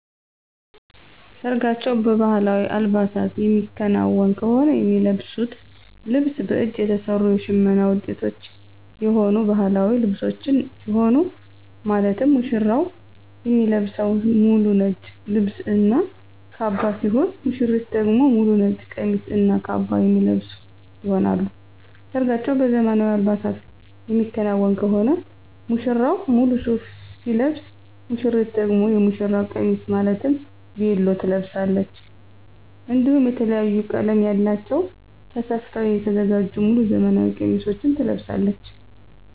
ሰርጋቸው በባህላዊ አልባሳት የሚከናወን ከሆነ የሚለብሱት ልብስ በእጅ የተሰሩ የሽመና ውጤቶች የሆኑ ባህላዊ ልብሶችን ሲሆን ማለትም ሙሽራው የሚለብሰው ሙሉ ነጭ ልብስ እና ካባ ሲሆን ሙሽሪት ደግሞ ሙሉ ነጭ ቀሚስ እና ካባ የሚለብሱ ይሆናል። ሰርጋቸው በዘመናዊ አልባሳት የሚከናወን ከሆነ ሙሽራው ሙሉ ሱፍ ሲለብስ ሙሽሪት ደግሞ የሙሽራ ቀሚስ ማለትም ቬሎ ትለብሳለች። እንዲሁም የተለያየ ቀለም ያላቸውን ተሰፍተው የተዘጋጁ ሙሉ ዘመናዊ ቀሚሶችን ትለብሳለች።